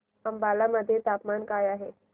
अंबाला मध्ये तापमान काय आहे